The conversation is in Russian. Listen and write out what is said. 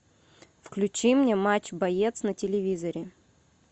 включи мне матч боец на телевизоре